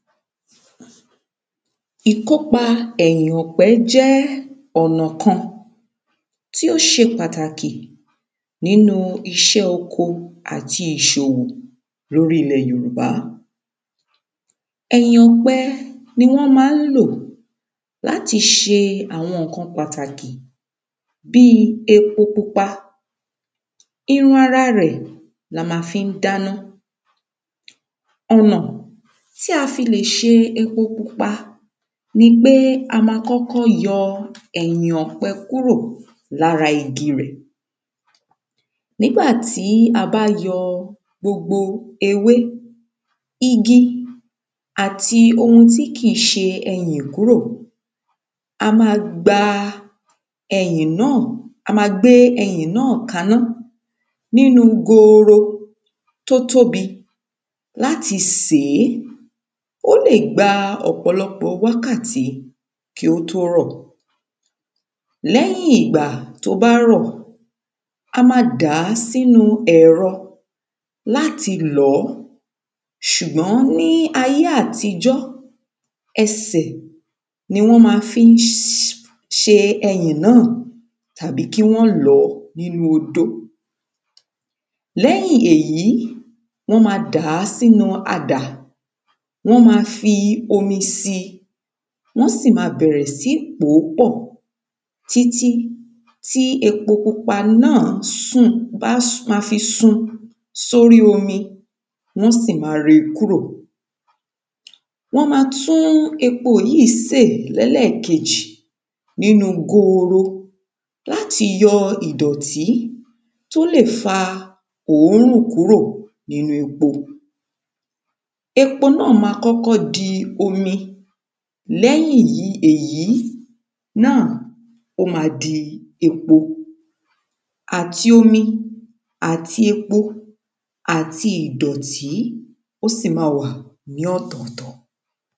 Ìkópa ẹ̀yìn ọ̀pẹ jẹ́ ọ̀nà kan tí ó ṣe pàtàkì nínú iṣẹ́ oko àti ìṣòwò lórí ilẹ̀ yoɹùbá. Ẹ̀yìn ọ̀pẹ ni wọ́n má ń lò láti ṣe àwọn nǹkan pàtàkì bí epo pupa irun ara rẹ̀ la má n fí dáná. Ọ̀nà tí a le fi ṣe epo pupa nípé a má kọ́kọ́ yọ ẹ̀yìn ọ̀pẹ kúrọ̀ lára igi rẹ̀. Nígbàtí a bá yọ gbogbo ewé igi àti gbogbo ohun tí kìí ṣẹyìn kúrò a má gba ẹyìn náà a má gbé ẹyìn náà kaná nínú goro tó tóbi láti sèé. Ó lè gba ọ̀pọ̀lọpọ̀ wákàtí kí ó tó rọ̀ lẹ́yìn ìgbà tó bá rọ̀ a má dàá sínú ẹ̀rọ láti lọ̀ọ́. Ṣùgbọ́n ní ayé àtijọ́ ẹsẹ̀ ni wọ́n má fí ń ṣe ẹyìn náà tàbí kí wọ́n lọ̀ọ́ nínú odó. Lẹ́yìn èyí wọ́n má dàá sínú adà wọ́n má fi omi sí wọ́n sì má bẹ̀rẹ̀ sí ní pòó pọ̀ títí ti epo pupa náà sùn bá má fi sun sórí omi wọ́n sì má ré kúrò. Wọ́n má tún epo yìí sè lẹ́lẹ́kejì nínú goro láti yọ ìdọ̀tí tó lè fa òórùn kúrò nínú epo. Epo náà má kọ́kọ́ di omi lẹ́yìn èyí náà ó má di epo. Àti omi àti epo àti ìdọ́tí ó sì má wà ní ọ̀tọ̀tọ̀.